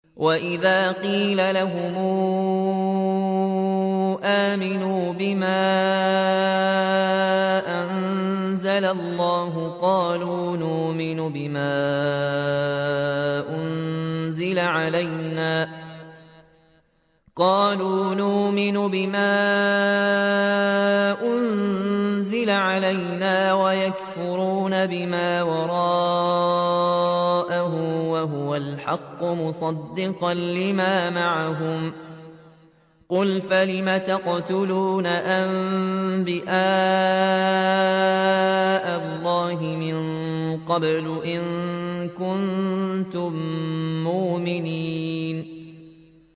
وَإِذَا قِيلَ لَهُمْ آمِنُوا بِمَا أَنزَلَ اللَّهُ قَالُوا نُؤْمِنُ بِمَا أُنزِلَ عَلَيْنَا وَيَكْفُرُونَ بِمَا وَرَاءَهُ وَهُوَ الْحَقُّ مُصَدِّقًا لِّمَا مَعَهُمْ ۗ قُلْ فَلِمَ تَقْتُلُونَ أَنبِيَاءَ اللَّهِ مِن قَبْلُ إِن كُنتُم مُّؤْمِنِينَ